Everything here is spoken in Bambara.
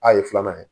A ye filanan ye